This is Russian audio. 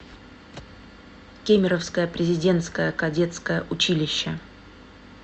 кемеровское президентское кадетское училище